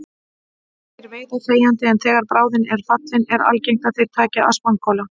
Þeir veiða þegjandi en þegar bráðin er fallin er algengt að þeir taki að spangóla.